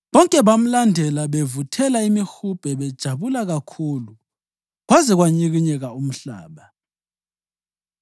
Bonke bamlandela, bavuthela imihubhe bejabula kakhulu, kwaze kwanyikinyeka umhlaba.